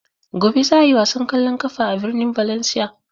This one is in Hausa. Gobe za a yi wasan ƙwallon ƙafa a birnin Valencia.